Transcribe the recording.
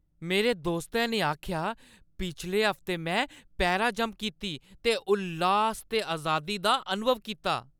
मेरे दोस्तै ने आखेआ, पिछले हफ्ते में पैराजंप कीती ते उल्लास ते अजादी दा अनुभव कीता।